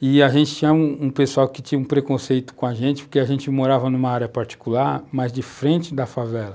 e a gente tinha um pessoal que tinha um preconceito com a gente, porque a gente morava numa área particular, mas de frente da favela.